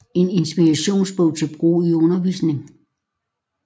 En inspirations bog til brug i undervisning